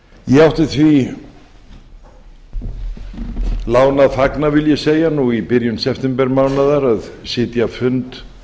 ég átti því láni að fagna vil ég segja nú í byrjun septembermánaðar að sitja fund